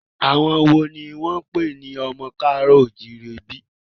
Àwọn wo ni wọ́n ń pè ní ọmọ ká àárọ̀ o ò jíire bí?